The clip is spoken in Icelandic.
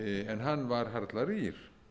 en hann var harla rýr